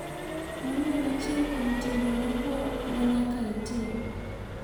Mano en achiel kuom timbe magwa ma nyaka itim.